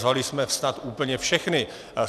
Zvali jsme snad úplně všechny.